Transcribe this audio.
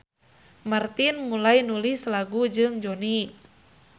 Martin mulai nulis lagu jeung Jonny.